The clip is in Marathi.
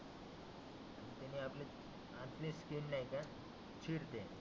त्याने आपले आतली स्किन नाही का चिरते.